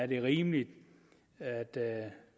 det er rimeligt at